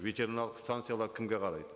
ветеринарлық станциялар кімге қарайды